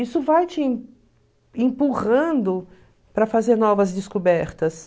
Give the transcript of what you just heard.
Isso vai te em empurrando para fazer novas descobertas.